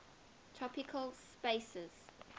topological spaces